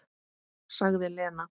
Sagði Lena.